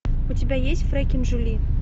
у тебя есть фрекен жюли